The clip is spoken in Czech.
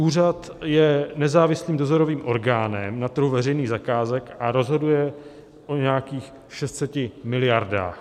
Úřad je nezávislým dozorovým orgánem na trhu veřejných zakázek a rozhoduje o nějakých 600 miliardách.